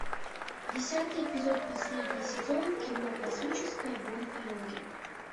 десятый эпизод последний сезон кино космическая гонка йоги